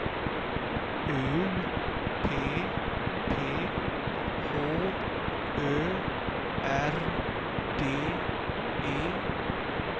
U P P H Ö R D E